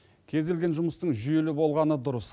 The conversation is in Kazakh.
кез келген жұмыстың жүйелі болғаны дұрыс